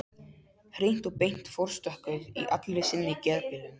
Hreint og beint forstokkuð í allri sinni geðbilun.